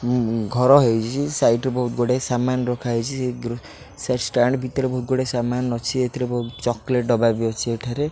ଉଁ ଉଁ ଘର ହେଇଚି ସାଇଟ୍ ରେ ବହୁତ ଗୁଡ଼ିଏ ସାମାନ ରଖା ହେଇଚି ସେ ଗ୍ରି ସେଇ ଷ୍ଟାଣ୍ଡ ଭିତରେ ବହୁତ ଗୁଡ଼ିଏ ସାମାନ ଅଛି ଏଥିରେ ବହୁତ ଚକେଲେଟ ଡବା ବି ଅଛି ଏଠାରେ